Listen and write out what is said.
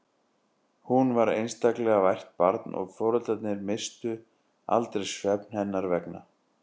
Hún var einstaklega vært barn og foreldrarnir misstu aldrei svefn hennar vegna.